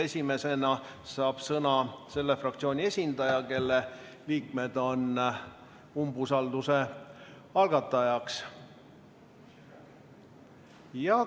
Esimesena saab sõna selle fraktsiooni esindaja, kelle liikmed on umbusalduse algatajaks.